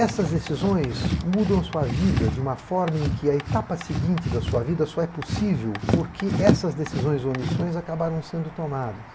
Essas decisões mudam a sua vida de uma forma em que a etapa seguinte da sua vida só é possível porque essas decisões ou omissões acabaram sendo tomadas.